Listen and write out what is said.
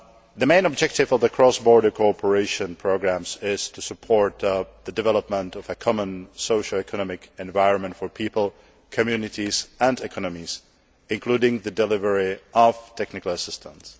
The main objective of the cross border cooperation programmes is to support the development of a common socio economic environment for people, communities and economies, including the delivery of technical assistance.